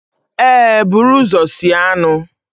ee, buru ụzọ sie anụ